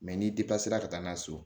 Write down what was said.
Mɛ n'i ka taa n'a ye so